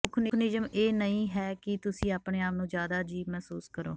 ਮੁੱਖ ਨਿਯਮ ਇਹ ਨਹੀਂ ਹੈ ਕਿ ਤੁਸੀਂ ਆਪਣੇ ਆਪ ਨੂੰ ਜ਼ਿਆਦਾ ਅਜੀਬ ਮਹਿਸੂਸ ਕਰੋ